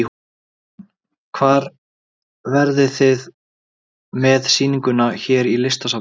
Jóhann: Hvar verðið þið með sýninguna hér í Listasafninu?